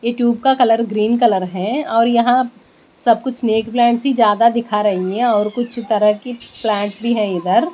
यह ट्यूब का colour green colour है और यहाँ सब कुछ स्नेक प्लांट्स ही ज्यादा दिखा रही है और कुछ तरह की प्लांट्स भी है इधर--